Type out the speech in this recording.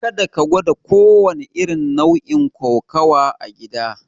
Karka gwada kowanne irin nau'in kokawa a gida!